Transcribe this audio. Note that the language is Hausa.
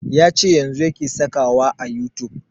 Ya ce yanzun yake saka wa a youtube